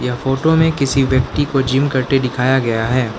Photo में किसी व्यक्ति को जिम करते दिखाया गया है।